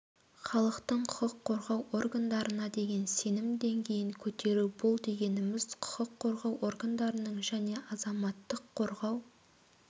халықтың құқық қорғау органдарына деген сенім деңгейін көтеру бұл дегеніміз құқық қорғау органдарының және азаматтық қорғау